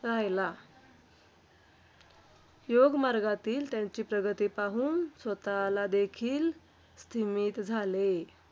राहिला. योगमार्गातील त्यांची प्रगती पाहून स्वतःला देखील स्तिमित झाले.